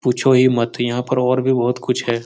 पूछो ही मत यहाँ पर और भी बहुत कुछ है।